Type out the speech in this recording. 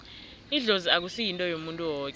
idlozi akusi yinto yomuntu woke